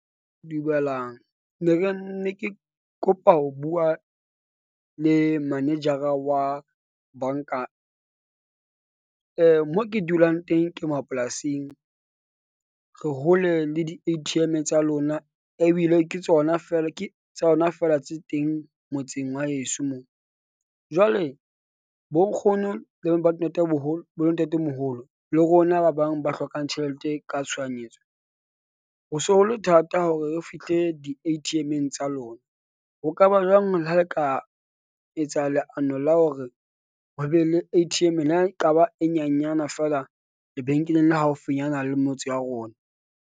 Dumelang ne re ne ke kopa ho bua le manejara wa bank-a. mo ke dulang teng ke mapolasing re hole le di-A_T_ M tsa lona ebile ke tsona fela ke tsona fela tse teng motseng wa heso mo. Jwale bonkgono le bo ntatemoholo le rona ba bang ba hlokang tjhelete ka tshohanyetso. Ho se ho le thata hore re fihle di-A_T_M-eng tsa lona. Ho ka ba jwang le ha le ka etsa leano la hore ho be le A_T_M, le ha ekaba e nyanyana feela lebenkeleng la haufinyana le motse wa rona?